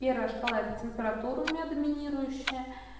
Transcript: первая шкала это температура у меня доминирующая